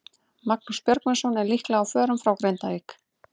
Magnús Björgvinsson er líklega á förum frá Grindavík.